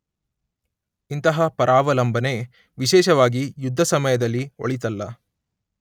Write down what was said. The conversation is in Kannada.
ಇಂತಹ ಪರಾವಲಂಬನೆ ವಿಶೇಷವಾಗಿ ಯುದ್ಧ ಸಮಯದಲ್ಲಿ ಒಳಿತಲ್ಲ.